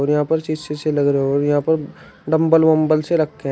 और यहां पर शीशे विशे लग रहे और यहां पर डम्बल वम्बल से रखे है।